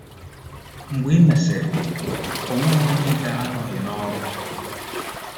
Mgbe e mesịrị, ọ nweghị onye ga-anọghị n’ọrụ.